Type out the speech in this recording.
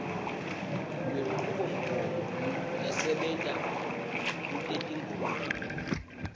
lwenchubomgomo lesebenta kutetimboni